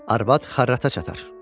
Arvad xarrata çatar.